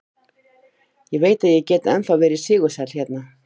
Ég veit að ég get ennþá verið sigursæll hérna.